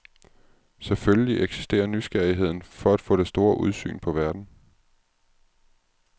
Selvfølgelig eksisterer nysgerrigheden for at få det store udsyn på verden.